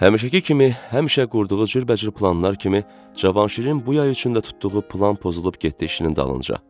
Həmişəki kimi həmişə qurduğu cürbəcür planlar kimi Cavanşirin bu yay üçün də tutduğu plan pozulub getdi işinin dalınca.